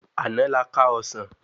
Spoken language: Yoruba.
Àná la ká ọsán